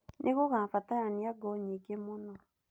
Nĩ gũgabatarania ngũ nyingĩ mũno.